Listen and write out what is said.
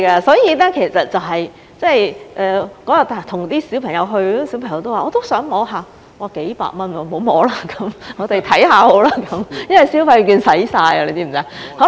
所以，當日和小朋友一起去，小朋友說也想摸一下，我說要幾百元，不要摸了，我們看看好了，因為消費券用完了，你知道嗎？